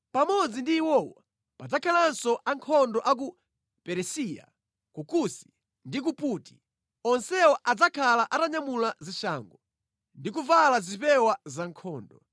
Pamodzi ndi iwowo, padzakhalanso ankhondo a ku Perisiya, ku Kusi, ndi ku Puti. Onsewa adzakhala atanyamula zishango ndi kuvala zipewa zankhondo.